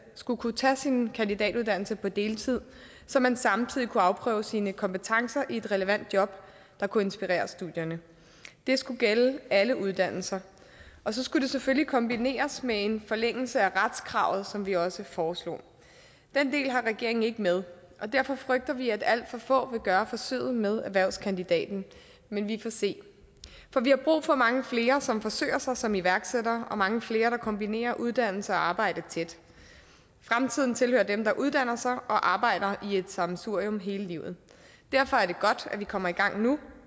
skulle kunne tage sin kandidatuddannelse på deltid så man samtidig kunne afprøve sine kompetencer i et relevant job der kunne inspirere studierne det skulle gælde alle uddannelser og så skulle det selvfølgelig kombineres med en forlængelse af retskravet som vi også foreslog den del har regeringen ikke med og derfor frygter vi at alt for få vil gøre forsøget med erhvervskandidaten men vi får se vi har brug for mange flere som forsøger sig som iværksættere og mange flere der kombinerer uddannelse og arbejde tæt fremtiden tilhører dem der uddanner sig og arbejder i et sammensurium hele livet derfor er det godt at vi kommer i gang nu